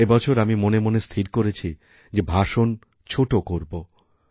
এবছর আমি মনে মনে স্থির করেছি যে ভাষণ ছোট করবো